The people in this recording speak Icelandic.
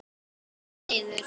Upp og niður.